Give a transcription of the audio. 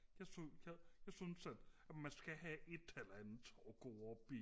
jeg synes at jeg synes at at man skal have et eller andet at gå op i